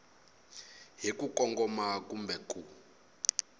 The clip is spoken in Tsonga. hi ku kongoma kumbe ku